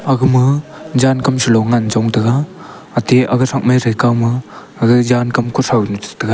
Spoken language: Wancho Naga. aga ma jan kam sa lo ngan chong tega ate aga sakmei thei kaw ma aga jan kuthow nu che taiga.